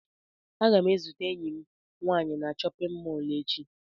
Aga m ezute enyi m nwaanyị na chọpịn mọọlụ echi.